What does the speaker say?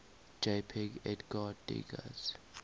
jpg edgar degas